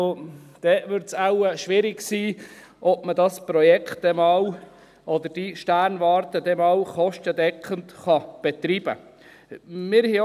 Dann wird es wohl schwierig sein, dass man dieses Projekt oder diese Sternwarte dann einmal kostendeckend betreiben kann.